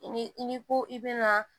Ni i ni ko i be na